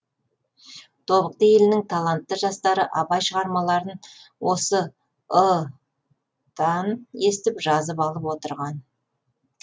тобықты елінің талантты жастары абай шығармаларын осы ы тан естіп жазып алып отырған